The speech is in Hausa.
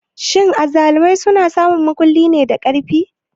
Shin azzalumai suna samun mulki ne da ƙarfi?